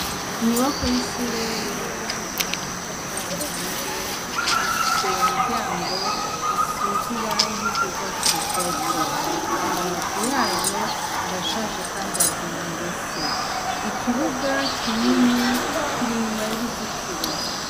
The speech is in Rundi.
Inyubakwa y'ishure yubakishijwe amatafari ahiye ifise imiryango isize irangi ry' ugwatsi rutoto amabati yayo arashaje kandi aguye ingese ikibuga kinini kiri inyuma y'uruzitiro.